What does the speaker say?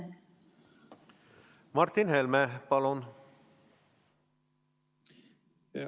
Martin Helme, palun!